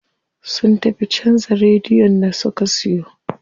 Sun tafi canza radiyon da suka siyo.